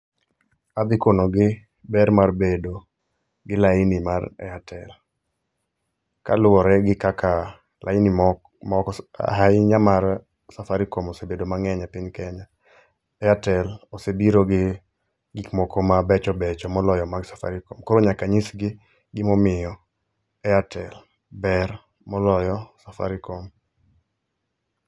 Adhi konogi ber mar bedo gi laini mar Airtel. Kaluwore gi kaka laini mok moko ahinya mar Safaricom osebedo mang'eny e piny Kenya. Airtel osebiro gi gikmoko mabechobecho moloyo mag Safaricom, koro nyaka nyisgi gimomiyo Airtel ber moloyo Safaricom.